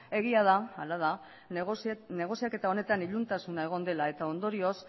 egia da hala da negoziaketa honetan iluntasuna egon dela eta ondorioz